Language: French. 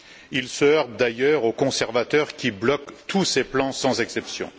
Il se heurte d'ailleurs aux conservateurs qui bloquent tous ses plans sans exception.